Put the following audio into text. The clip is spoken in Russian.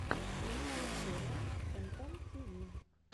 лучшая серия фэнтом тиви